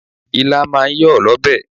Okro is a draw soup.